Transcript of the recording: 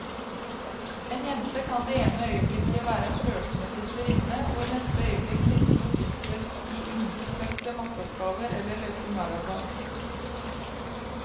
En jente kan det ene øyeblikket være en flørtende fristerinne, og i neste øyeblikk sitte fordypet i innfløkte matteoppgaver eller løpe maraton.